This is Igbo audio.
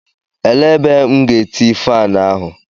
Elee ebe M ga-eti faani ahụ?